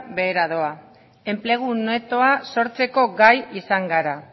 behera dora enplegu netoa sortzeko gai izan gara